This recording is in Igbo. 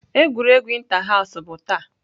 Egwuregwu inter house bụ taa.